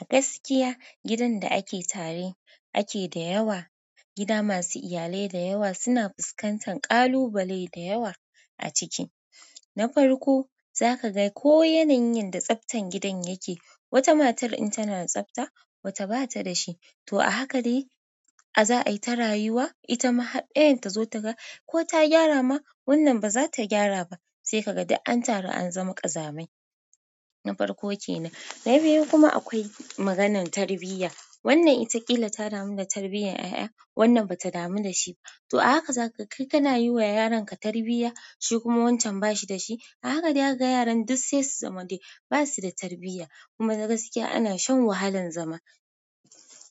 A gaskiya gidan da ake tare ake da yawa, gida masu iyalai da yawa suna fuskantar ƙalubale da yawa a ciki. Na farko za ka ga ko yanayin da tsaftan gidan yake, wata matar in tana da tsafta wata bata da shi. To a haka dai za'a yi ta rayuwa, ita ma haɗ ɗayan ta zo ta ga ko ta gyara ma wannan ba za ta gyara ba, sai ka ga duk an taru an zama ƙazamai. Na farko kenan. Na biyu kuma akwai maganan tarbiyya, wannan ita ƙila ta damu da tarbiyyar 'ya' ya wannan ba ta damu da shi ba. To a haka za ka kai kana yi wa yaronka tarbiyya shi kuma wancan ba shi da shi. A haka dai daka ga yaran duk sai su zama dai ba su da tarbiyya. Kuma na gaskiya ana shan wahalan zama.